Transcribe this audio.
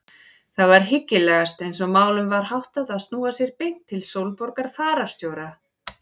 Það var hyggilegast eins og málum var háttað að snúa sér beint til Sólborgar fararstjóra.